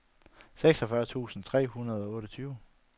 seksogfyrre tusind tre hundrede og otteogtyve